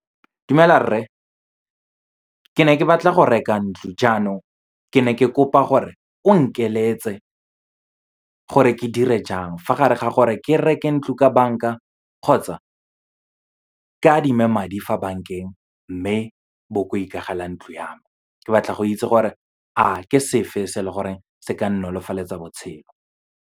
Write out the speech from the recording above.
Dumela rre, ke ne ke batla go reka ntlo. Jaanong, ke ne ke kopa gore o nkeletse gore ke dire jang, fa gare ga gore ke reke ntlo ka banka kgotsa ke adime madi fa bankeng, mme bo ko ikagele ntlo ya me. Ke batla go itse gore, a ke sefe se leng gore se ka nnolofaletsa botshelo.